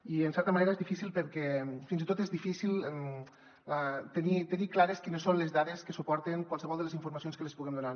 i en certa manera és difí·cil perquè fins i tot és difícil tenir clares quines són les dades que suporten qualse·vol de les informacions que els puguem donar